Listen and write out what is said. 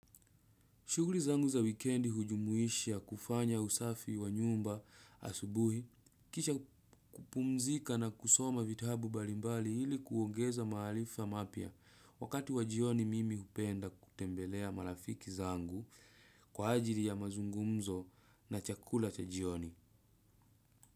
Shuguri zangu za wikendi ujumuisha kufanya usafi wa nyumba asubuhi, kisha kupumzika na kusoma vitabu balimbali ili kuongeza maalifa mapya wakati wa jioni mimi upenda kutembelea marafiki zangu kwa ajili ya mazungumzo na chakula cha jioni.